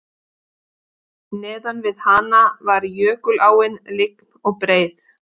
Neðan við hana var jökuláin lygn og breið